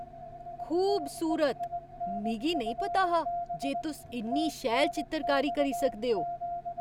खूबसूरत ! मिगी नेईं पता हा जे तुस इन्नी शैल चित्तरकारी करी सकदे ओ!